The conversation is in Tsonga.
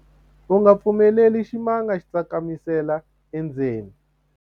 u nga pfumeleli ximanga xi tsakamisela endzeni